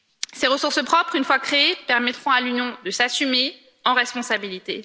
Ces ressources propres, une fois créées, permettront à l'Union de s'assumer en responsabilité.